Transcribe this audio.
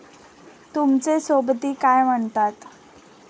तुमचे सोबती काय म्हणतात